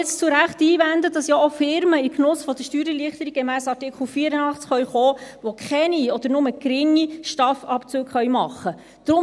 Man kann nun zu Recht einwenden, dass jetzt ja auch Firmen in den Genuss der Steuererleichterungen gemäss Artikel 84 kommen können, die keine oder nur geringe STAF-Abzüge machen können.